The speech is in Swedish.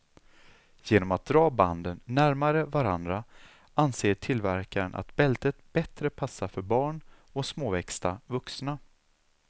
Genom att dra banden närmare varandra anser tillverkaren att bältet bättre passar för barn och småväxta vuxna.